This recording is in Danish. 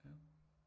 Ja